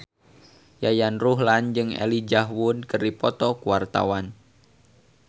Yayan Ruhlan jeung Elijah Wood keur dipoto ku wartawan